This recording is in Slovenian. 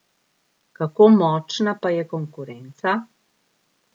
Kako močna pa je konkurenca?